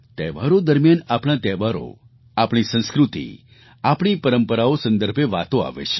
તહેવારો દરમિયાન આપણા તહેવારો આપણી સંસ્કૃતિ આપણી પરંપરાઓ સંદર્ભે વાતો આવે છે